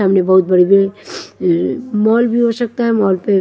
सामने बहुत बड़ी बड़ी मॉल भी हो सकता है मॉल पे--